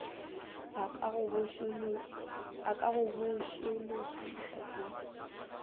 a ka go botšološoša ka